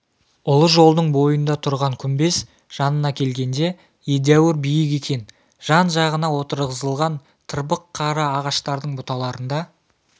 ұлы жолдың бойында тұрған күмбез жанына келгенде едәуір биік екен жан-жағына отырғызылған тырбық қара ағаштардың бұталарында